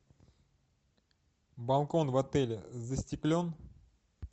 балкон в отеле застеклен